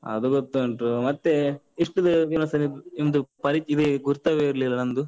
ಅದು ಗೊತ್ತುಂಟು. ಮತ್ತೆ ಇಷ್ಟು ದಿವ್ಸ ನಿಮ್ದು ಪರಿ ಇದೇ ಗುರ್ತವೇ ಇರ್ಲಿಲ್ಲ ನಂದು?